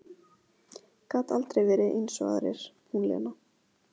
Gat aldrei verið eins og aðrir, hún Lena.